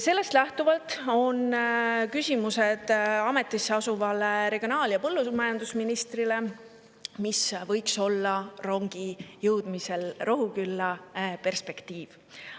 Sellest lähtuvalt on ametisse asuvale regionaal‑ ja põllumajandusministrile küsimused selle kohta, mis võiks olla rongi Rohukülla jõudmise perspektiiv.